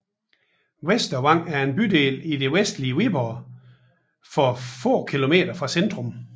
Vestervang er en bydel i det vestlige Viborg få kilometer fra centrum